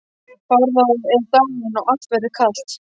Bárður er dáinn og allt verður kalt.